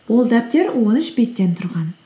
ол дәптер он үш беттен тұрған